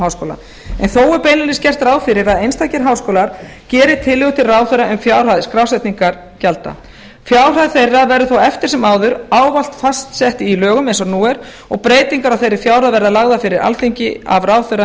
háskóla en þó er beinlínis gert ráð fyrir að einstakir háskólar geri tillögu til ráðherra um fjárhæð skrásetningargjalda fjárhæð þeirra verður þó eftir sem ávallt fastsett í lögum eins og nú er og breytingar á þeirri fjárhæð verði lagðar fyrir alþingi af ráðherra